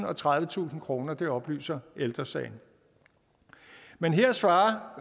og tredivetusind kroner det oplyser ældre sagen men her svarer